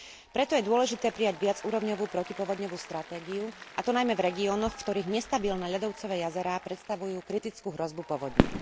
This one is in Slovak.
Preto je dôležité prijať viacúrovňovú protipovodňovú stratégiu, a to najmä v regiónoch, v ktorých nestabilné ľadovcové jazerá predstavujú kritickú hrozbu povodní.